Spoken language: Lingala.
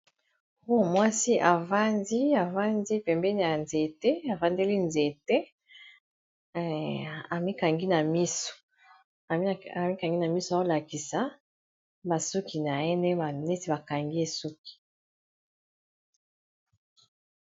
Awa mwasi a vandi pembeni ya nzete, a vandeli nzete, a mikangi na miso, azo lakisa ba suki na ye, neti ba kangi ye suki .